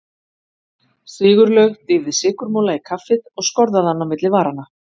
Sigurlaug dýfði sykurmola í kaffið og skorðaði hann á milli varanna.